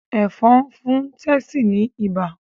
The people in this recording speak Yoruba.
Ẹ̀fọ̀n fún Tessy ní ibà